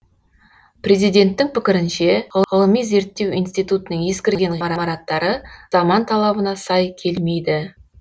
президенттің пікірінше ғылыми зерттеу институтының ескірген ғимараттары заман талабына сай келмейді